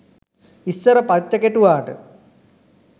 ඉස්සර පච්ච කෙටුවාට